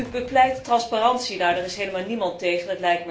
U bepleit transparantie. Daar is helemaal niemand tegen.